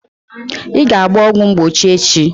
Ị ga-agba ọgwụ mgbochi echi!